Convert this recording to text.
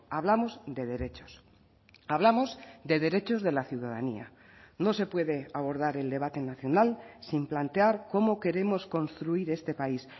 hablamos de derechos hablamos de derechos de la ciudadanía no se puede abordar el debate nacional sin plantear cómo queremos construir este país